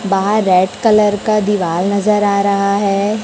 बाहर red colour का दीवार नजर आ रहा है।